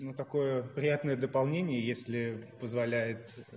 ну такое приятное дополнение если позволяет